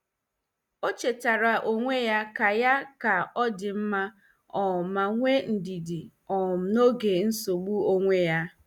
O chetaara onwe ya ka ya ka ọ dị mma um ma nwee ndidi um n'oge nsogbu onwe ya.